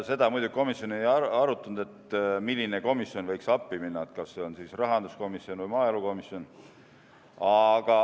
Seda muidugi komisjon ei arutanud, milline komisjon võiks appi minna, kas see on siis rahanduskomisjon või maaelukomisjon.